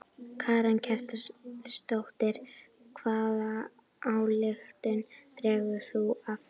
Karen Kjartansdóttir: Hvaða ályktun dregur þú af þessu?